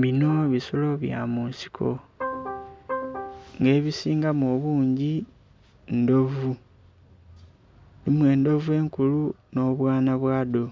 Bino bisolo bya mu nsiko, nga ebisingamu obungi, ndhovu. Mulimu endhovu enkulu nh'obwana bwadho.